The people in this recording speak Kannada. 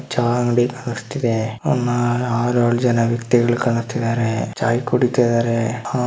ಚಾಯಿ ಅಂಡಗಿ ಅಂಗಡಿ ಕಾಣಿಸ್ತಿದೆ ಒಂದು ಆರು ಏಳು ಜನ ವ್ಯಕ್ತಿಗಳು ಕಾಣುತ್ತಿದ್ದಾರೆ ಚಾಯಿ ಕುಡಿತ್ತಿದ್ದಾರೆ ಆ --